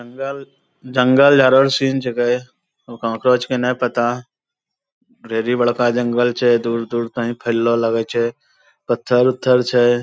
जंगल जंगल झारो रो सीन जगहै कहाँ करो छेकै ना पता ढेरी बड़का जंगल छै दूर-दूर तहि फैललो लगै छै पत्थर-उत्थर छै।